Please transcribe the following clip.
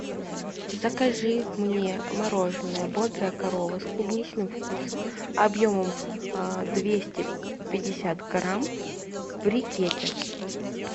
закажи мне мороженое бодрая корова с клубничным вкусом объемом двести пятьдесят грамм в брикете